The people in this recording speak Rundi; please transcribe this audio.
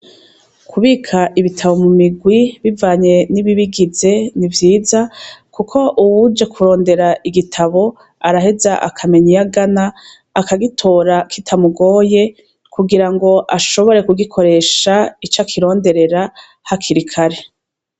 Kubik' ibitabo mu migwi bivanye n' ibibigize n' ivyiza, kuk' uwuje kuronder' igitab' arahez' akameny' iyagan' akagitora kitamugoye, kugirang' ashobore kugikoresh' icakironderera hakirikare.